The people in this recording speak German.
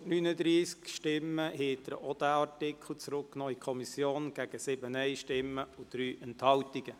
Mit 139 Stimmen gegen 7 Nein-Stimmen und 3 Enthaltungen haben Sie auch diesen Artikel an die Kommission zurückgewiesen.